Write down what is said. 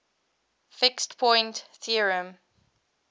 fixed point theorem